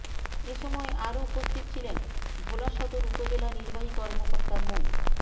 এ সময় আরো উপস্থিত ছিলেন ভোলা সদর উপজেলা নির্বাহী কর্মকর্তা মো